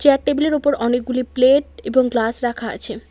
আর table -এর ওপর অনেকগুলি প্লেট এবং গ্লাস রাখা আছে।